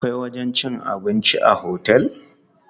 Akwai wajen cin abinci a otel.